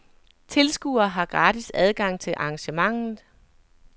Tilskuere har gratis adgang til arrangementet.